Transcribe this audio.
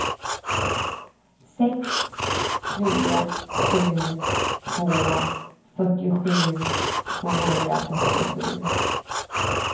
sex tre sju två fyrtiosju tvåhundrafyrtiosju